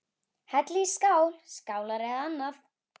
Hellið í skál, skálar eða annað.